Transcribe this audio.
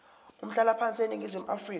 umhlalaphansi eningizimu afrika